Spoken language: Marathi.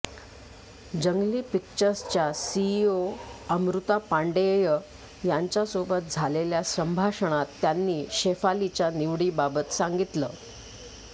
जंगली पिक्चर्स च्या सीईओ अमृता पांडेय यांच्यासोबत झालेल्या संभाषणात त्यांनी शेफालीच्या निवडीबाबत सांगितलं